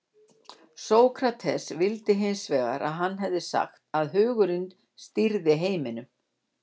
sókrates vildi hins vegar að hann hefði sagt að hugurinn stýrði heiminum